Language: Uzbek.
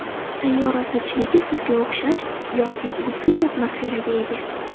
Sayyora zichligi suvga o‘xshash yoki u zich atmosferaga ega.